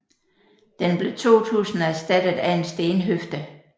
Den blev 2000 erstattet af en stenhøfde